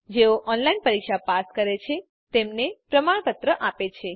જેઓ ઓનલાઇન પરીક્ષા પાસ કરે છે તેમને પ્રમાણપત્ર આપે છે